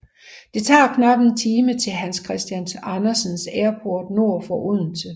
Det tager knap en time til Hans Christian Andersen Airport nord for Odense